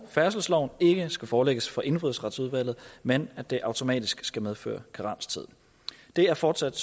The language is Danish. færdselsloven ikke skal forelægges for indfødsretsudvalget men at det automatisk skal medføre karenstid det er fortsat